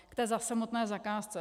K té samotné zakázce.